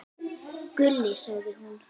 Gulli, sagði hún.